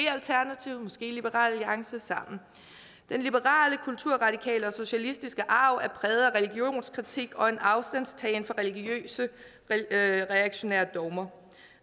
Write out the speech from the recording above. liberal alliance sammen den liberale kulturradikale og socialistiske arv er præget af religionskritik og en afstandtagen til religiøse reaktionære dogmer